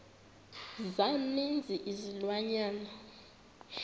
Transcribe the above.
za ninzi izilwanyana